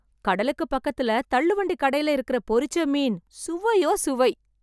கடலுக்குப் பக்கத்துல தள்ளுவண்டி கடையில இருக்கிற பொறிச்ச மீன் சுவையோ சுவை.